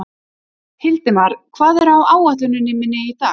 Hildimar, hvað er á áætluninni minni í dag?